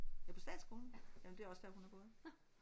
Ja på Statsskolen? Jamen det er også der hun har gået